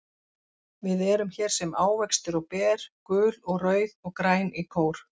Við erum hér sem ávextir og ber, gul og rauð og græn í kór.